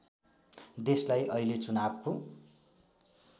देशलाई अहिले चुनावको